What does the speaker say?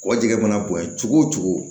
Kɔ jɛgɛ mana bonya cogo o cogo